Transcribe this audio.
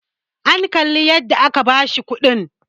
an Kalli yadda aka bashi kudin!